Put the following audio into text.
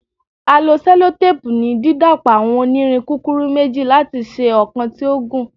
A lo sellotape ni didapọ awọn onirin kukuru meji lati ṣe ọkan ti o gun